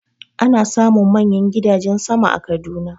Ana samun manyan gidajen sama a Kaduna.